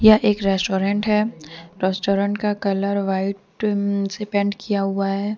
यह एक रेस्टोरेंट है रेस्टोरेंट का कलर व्हाइट से पेंट किया हुआ है।